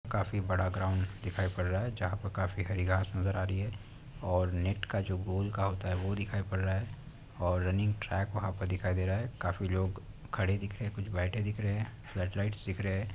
काफी बड़ा ग्राउंड दिखाई पड रहा है जहा पर काफी हरी घास नजर आ रही है और नेट का जो गोल का होता है वो दिखाई पड़ रहा है और रनिंग ट्रैक वहा पर दिखाई दे रहा है काफी लोग खड़े दिख रहै है कुछ बैठे दिख रहे है फ्लड लाइट्स दिख रहे है।